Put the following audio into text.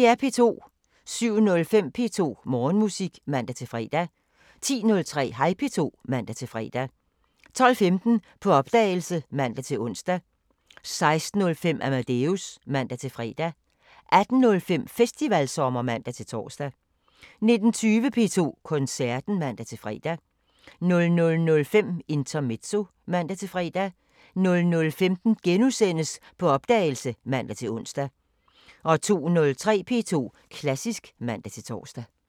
07:05: P2 Morgenmusik (man-fre) 10:03: Hej P2 (man-fre) 12:15: På opdagelse (man-ons) 16:05: Amadeus (man-fre) 18:05: Festivalsommer (man-tor) 19:20: P2 Koncerten (man-fre) 00:05: Intermezzo (man-fre) 00:15: På opdagelse *(man-ons) 02:03: P2 Klassisk (man-tor)